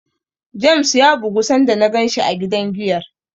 James ya bugu sanda na ganshi a gidan giyar.